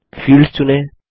fields चुनें